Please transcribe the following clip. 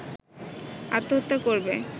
আত্মহত্যা করবে